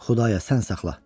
Xudaya, sən saxla.